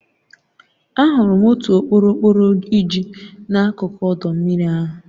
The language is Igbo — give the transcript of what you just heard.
Ahụrụ m otu okporokporo iji n'akụkụ ọdọ mmiri ahụ.